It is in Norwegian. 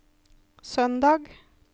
søndag